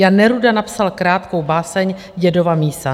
Jan Neruda napsal krátkou báseň Dědova mísa.